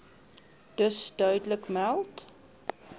dus duidelik meld